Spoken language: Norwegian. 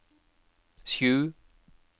sju